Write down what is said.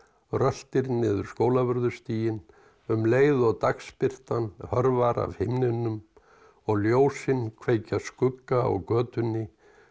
röltir niður Skólavörðustíginn um leið og dagsbirtan hörfar af himninum og ljósin kveikja skugga á götunni og